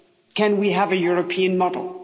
Can we have a European model?